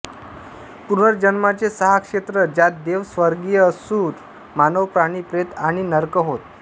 पुनर्जन्माचे सहा क्षेत्र ज्यात देव स्वर्गीय असुर मानव प्राणी प्रेत आणि नर्क होत